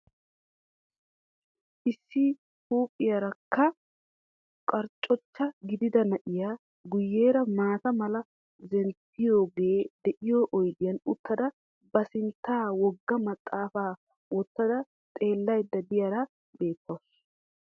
Issi huuphiyaarakka qarccucha gidida na"iyaa guyyeera maata mala zemppiyoogee de"iyoo oydiyan uttada ba sinttan wogga maxaafa wottada xeellaydda diyaara beettawusu.